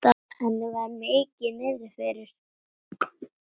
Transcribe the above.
Henni var mikið niðri fyrir.